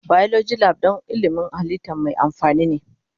Biology Lab don ilmin halitta mai amfani ne.